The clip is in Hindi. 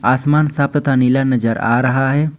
आसमान साफ तथा नीला नजर आ रहा है।